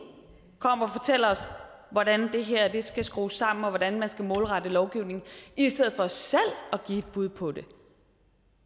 kommer og fortæller os hvordan det her skal skrues sammen og hvordan man skal målrette lovgivningen i stedet for selv at give et bud på det